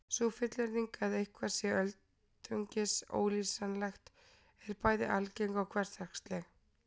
Sú fullyrðing að eitthvað sé öldungis ólýsanlegt er bæði algeng og hversdagsleg.